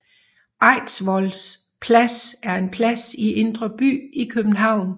Eidsvoll Plads er en plads i Indre By i København